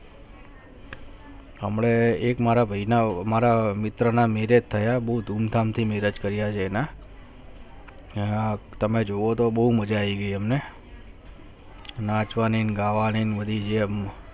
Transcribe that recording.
હમને એક બહેના થી marriage થયા એક મિત્ર ના marriage થયા બહુ ધૂમ ધામ થી marriage થયા અને તમે જોવો તો બહુ મજા આવી ગયી હમને નાચવાની, ગાવાને મળી ગયા